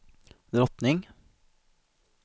drottning